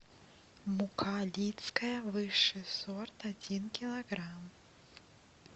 мука лидская высший сорт один килограмм